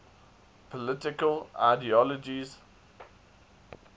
political ideologies